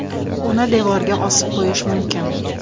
Uni devorga osib qo‘yish mumkin.